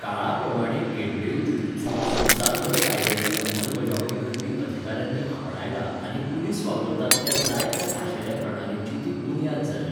काळाप्रमाणें गेंडई जुजुत्सू संवसारभर कायद्याची अंमलबजावणी करपी अधिकाऱ्यांनी आपणायला आनी पुलिस वापरतात त्या जायत्या खाशेल्या प्रणालींची ती बुन्याद जाल्या.